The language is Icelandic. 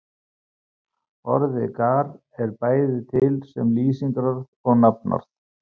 Orðið gar er bæði til sem lýsingarorð og nafnorð.